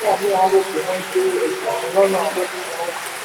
mí à rò pé wọ́n gbé ẹgbẹ̀rún lọ́nà àádọ́ta náírà lọ